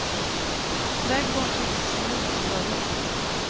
Trädgården tycks som gjord för bröllop.